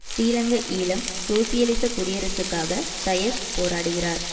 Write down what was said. ஸ்ரீலங்கா ஈழம் சோசியலிச குடியரசுக்காக டயஸ் போராடுகிறார்